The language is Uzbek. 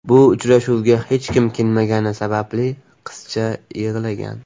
Bu uchrashuvga hech kim kelmagani sababli qizcha yig‘lagan.